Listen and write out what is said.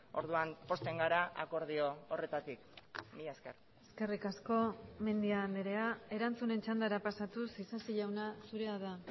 orduan pozten gara akordio horretatik mila esker eskerrik asko mendia andrea erantzunen txandara pasatuz isasi jauna zurea da